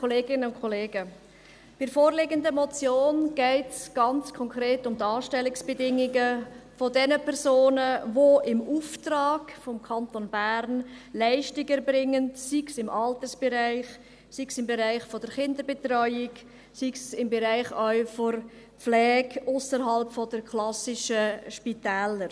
Bei der vorliegenden Motion geht es ganz konkret um die Anstellungsbedingungen der Personen, die im Auftrag des Kantons Bern Leistungen erbringen, sei es im Altersbereich, sei es im Bereich der Kinderbetreuung, sei es auch im Bereich der Pflege ausserhalb der klassischen Spitäler.